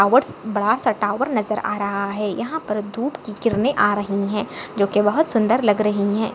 बड़ासा टॉवर नजर आ रहा है यहा पर धूप की किरने आ रही है जो की बहुत सुंदर लग रही है।